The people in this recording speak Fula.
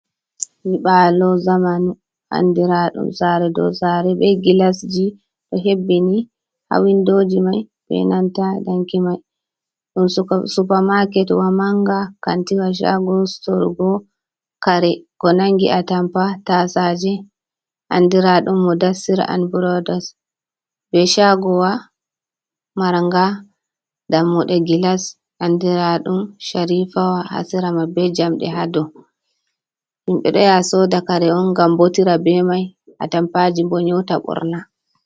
Nyiibalo zamanu andiraɗum sare dow sare be gillasji ɗo hebbini ha windoji mai be nanta danki mai, ɗum supermaket wa manga kantiwa shago sorgo kare ko nangi a tampa, tasaje, andiraɗum mudassir an brodos, ɓe shagowa maranga dammuɗe gilas andiraɗum charifawa hasirama be jamɗe ha dou himɓɓe ɗo yaha soda kare on ngam botira be mai a tampaji bo nyeuta ɓorna.